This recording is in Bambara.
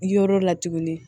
Yɔrɔ la tuguni